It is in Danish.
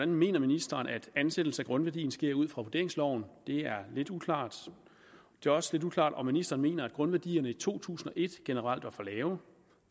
mener ministeren at ansættelse af grundværdien sker ud fra vurderingsloven det er lidt uklart det er også lidt uklart om ministeren mener at grundværdierne i to tusind og et generelt var for lave